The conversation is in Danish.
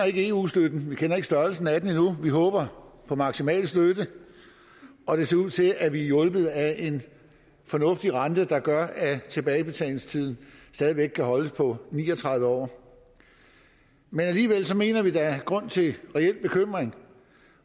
ikke eu støtten vi kender ikke størrelsen af den endnu vi håber på maksimal støtte og det ser ud til at vi er hjulpet af en fornuftig rente der gør at tilbagebetalingstiden stadig væk kan holdes på ni og tredive år alligevel mener vi at der er grund til reel bekymring